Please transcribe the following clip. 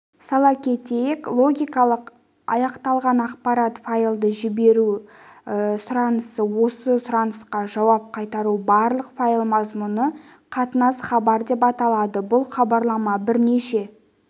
сала кетейік логикалық аяқталған ақпарат файлды жіберу сұранысы осы сұранысқа жауап қайтару барлық файл мазмұны қатынас хабар деп аталады бұл хабарлама бірнеше